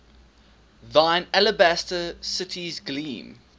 thine alabaster cities gleam